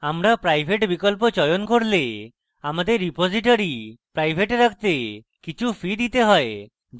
আমরা private বিকল্প চয়ন করলে আমাদের repository প্রাইভেট রাখতে কিছু fees দিতে pay